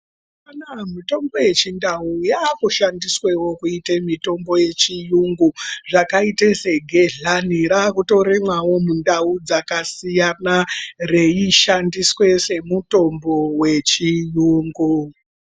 Mitombo yechindawu yakushandiswewo kuite mitombo yechiyungu zvakaita segehlani rakutorimwao mundawu dzakasiyana reishandiswa semutombo wechiyungu.